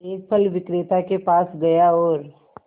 एक फल विक्रेता के पास गया और